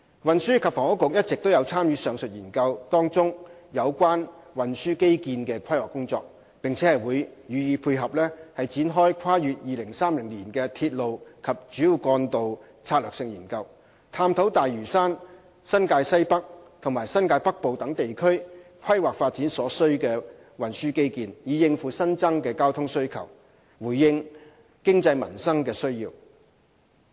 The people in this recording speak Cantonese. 運輸及房屋局一直有參與上述研究中有關運輸基建的規劃工作，並將予配合展開跨越2030年的鐵路及主要幹道策略性研究，探討大嶼山、新界西北和新界北部等地區規劃發展所需的運輸基建，以應付新增的交通需求，回應經濟民生的需要。